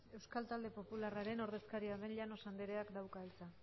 euskal talde popularraren ordezkaria den llanos andreak dauka hitza